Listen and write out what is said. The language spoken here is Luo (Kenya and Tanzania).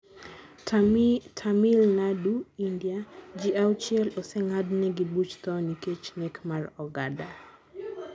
Tamil Nadu, India: Ji auchiel oseng'ad negi buch tho nikech nek mar oganda